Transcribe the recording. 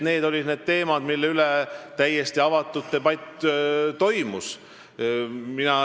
Need olid need teemad, mille üle toimus täiesti avatud debatt.